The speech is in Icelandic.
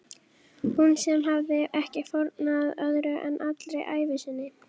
Hún sem hafði ekki fórnað öðru en allri ævi sinni.